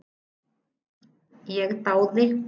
Ég dáði